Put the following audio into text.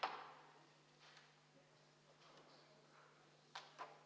Head kolleegid, kas Riigikogu liikmetel on hääletamise korraldamise kohta proteste?